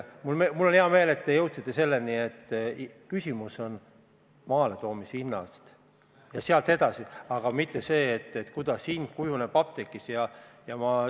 Mul on hea meel, et te jõudsite selleni, et küsimus on eelkõige maaletoomise hinnas, mitte selles, kuidas hind kujuneb apteegis.